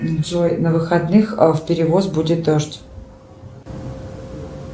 джой на выходных в перевоз будет дождь